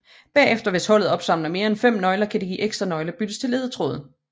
Bagefter hvis holdet opsamler mere end fem nøgler kan de ekstra nøgler byttes til ledetråd